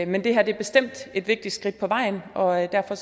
men det er bestemt et vigtigt skridt på vejen og derfor